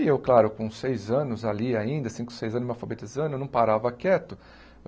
E eu, claro, com seis anos ali ainda, cinco, seis anos me alfabetizando, eu não parava quieto.